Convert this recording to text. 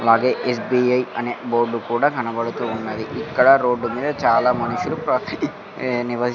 అలాగే ఎస్_బి_ఐ అనే బోర్డు కూడా కనబడుతువున్నది ఇక్కడ రోడ్డు మీద చాలా మనుషుల ఏ నివైస్ --